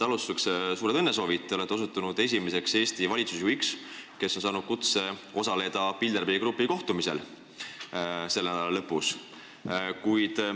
Alustuseks suured õnnesoovid – te olete osutunud esimeseks Eesti valitsusjuhiks, kes on saanud kutse osaleda Bilderbergi grupi kohtumisel selle nädala lõpus!